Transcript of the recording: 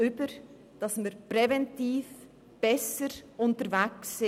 Wir müssen präventiv besser unterwegs sein.